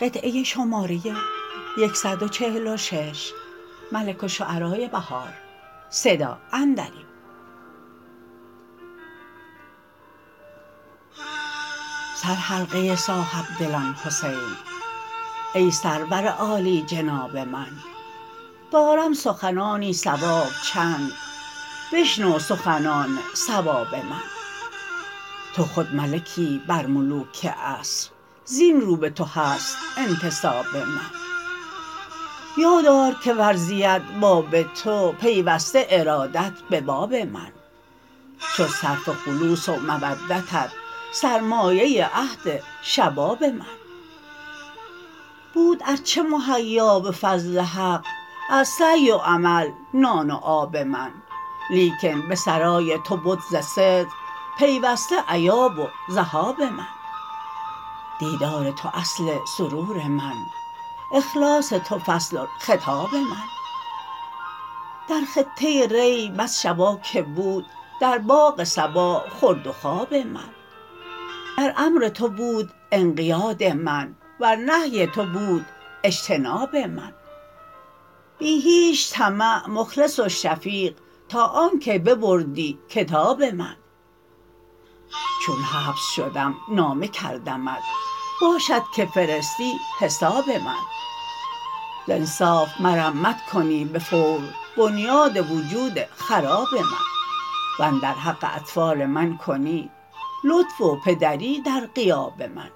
سر حلقه صاحبدلان حسین ای سرور عالیجناب من دارم سخنانی صواب چند بشنو سخنان صواب من توخود ملکی برملوک عصر زین رو به تو هست انتساب من یاد آر که ورزید باب تو پیوسته ارادت به باب من شد صرف خلوص و مودتت سرمایه عهد شباب من بود ارچه مهیا به فضل حق از سعی و عمل نان و آب من لیکن به سرای تو بد ز صدق پیوسته ایاب و ذهاب من دیدار تو اصل سرور من اخلاص تو فصل الخطاب من در خطه ری بس شباکه بود در باغ صبا خورد و خواب من در امر تو بود انقیاد من وز نهی تو بود اجتناب من بی هیچ طمع مخلص وشفیق تا آن که ببردی کتاب من چون حبس شدم نامه کردمت باشدکه فرستی حساب من ز انصاف مرمت کنی بفور بنیاد وجود خراب من وندر حق اطفال من کنی لطف و پدری در غیاب من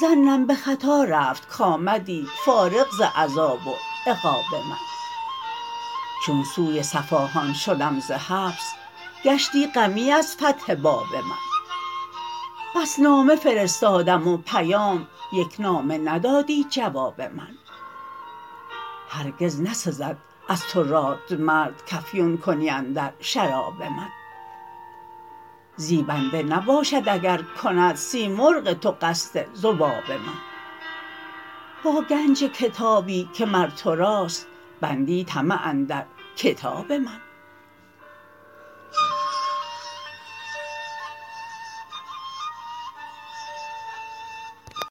ظنم به خطا رفت کامدی فارغ ز عذاب و عقاب من چون سوی صفاهان شدم ز حبس گشتی غمی از فتح باب من بس نامه فرستادم و پیام یک نامه ندادی جواب من هرگز نسزد از تو رادمرد کافیون کنی اندر شراب من زیبنده نباشد اکرکند سیمرغ تو قصد ذباب من با گنج کتابی که مر توراست بندی طمع اندرکتاب من